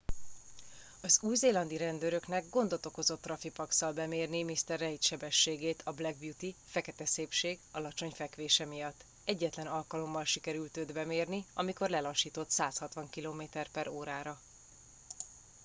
az új-zélandi rendőröknek gondot okozott traffipax-szal bemérni mr reid sebességét a black beauty fekete szépség alacsony fekvése miatt. egyetlen alkalommal sikerült őt bemérni amikor lelassított 160 km/h-ra